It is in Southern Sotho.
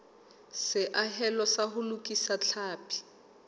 seahelo sa ho lokisa tlhapi